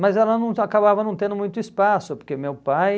Mas ela não acabava não tendo muito espaço, porque meu pai...